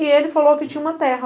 E ele falou que tinha uma terra.